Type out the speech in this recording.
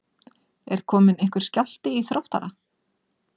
Er kominn einhver skjálfti í Þróttara?